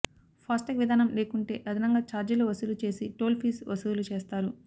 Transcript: FASTag విధానం లేకుంటే అదనంగా ఛార్జీలు వసూలు చేసి టోల్ ఫీజు వసూలు చేస్తారు